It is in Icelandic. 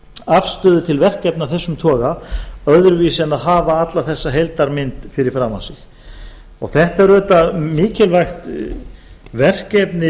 afstöðu til verkefna af þessum toga öðruvísi en að hafa alla þessa heildarmynd fyrir framan sig þetta er auðvitað mikilvægt verkefni